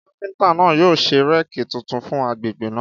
Káfíntà náà yóò ṣe réèkì tuntun fún àgbẹ̀ náà